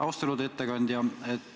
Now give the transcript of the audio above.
Austatud ettekandja!